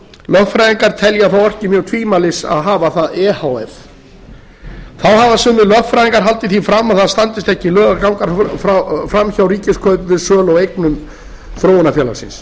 lögfræðingar telja að það orki mjög tvímælis að hafa það e h f þá hafa sumir lögfræðingar haldið því fram að það standist ekki lög að ganga fram hjá ríkiskaupum við sölu á eignum þróunarfélagsins